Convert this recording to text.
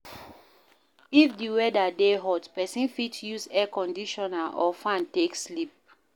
If di weather dey hot, person fit use Air Conditioner or fan take sleep